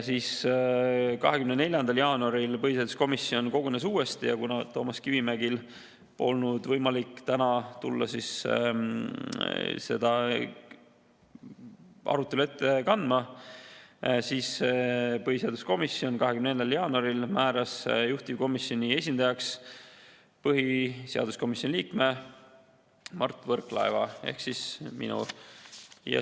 24. jaanuaril kogunes põhiseaduskomisjon uuesti ja kuna Toomas Kivimägil ei olnud võimalik täna tulla arutelu ette kandma, siis põhiseaduskomisjon 24. jaanuaril määras juhtivkomisjoni esindajaks põhiseaduskomisjoni liikme Mart Võrklaeva ehk minu.